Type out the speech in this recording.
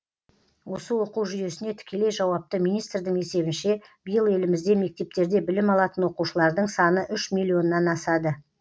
осы оқу жүйесіне тікелей жауапты министрдің есебінше биыл елімізде мектептерде білім алатын оқушылардың саны үш миллионнан асады